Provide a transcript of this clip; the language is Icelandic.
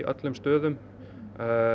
öllum stöðum